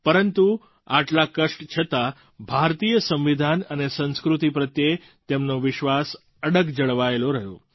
પરંતુ આટલા કષ્ટ છતાં ભારતીય સંવિધાન અને સંસ્કૃતિ પ્રત્યે તેમનો વિશ્વાસ અડગ જળવાયેલો રહ્યો